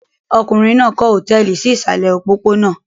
Ọkùnrin náà kọ́ hòtẹ́ẹ́lì sí ìsàlẹ̀ òpópónà.